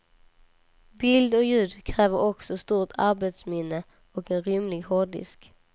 Bild och ljud kräver också stort arbetsminne och en rymlig hårddisk.